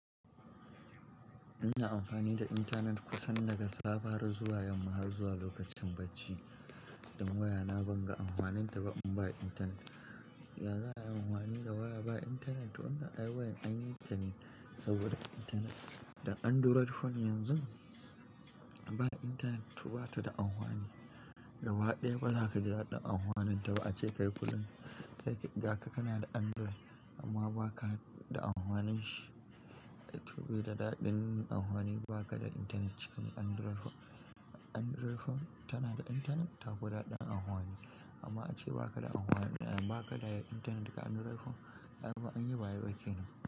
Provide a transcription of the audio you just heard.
Ina amfani da intanet kusan daga safe har zuwa yamma har zuwa lokacin bacci. Dan wayana ban ga amfaninta ba in ba intanet. Yanzu ana amfani da waya ba intanet, wanna ai wayan anyi tane saboda intanet. Dan Android phone yanzu ba intanet to bata da amfani. Gaba ɗaya ba za ka ji daɗin amfaninta ba ace kai kullum gaka kana da Android amma baka da amfanin shi. To bai da daɗin amfani in baka da intanet cikin Android phone. Android phone tana da intanet tafi daɗin amfani amma ace baka da amfani da, baka da intanet ga Android phone ai anyi ba a yi ba kenan.